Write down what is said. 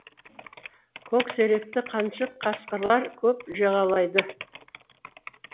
көксеректі қаншық қасқырлар көп жағалайды